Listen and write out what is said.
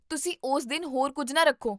ਤੁਸੀਂ ਉਸ ਦਿਨ ਹੋਰ ਕੁੱਝ ਨਾ ਰੱਖੋ